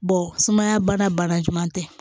sumaya bana bana ɲuman tɛ